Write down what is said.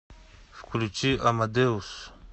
включи амадеус